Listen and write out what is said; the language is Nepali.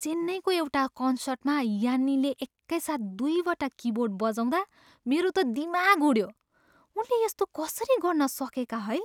चेन्नईको एउटा कन्सर्टमा यान्नीले एकैसाथ दुईवटा किबोर्ड बजाउँदा मेरो त दिमाग उड्यो। उनले यस्तो कसरी गर्न सकेका, है?